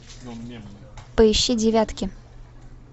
поищи девятки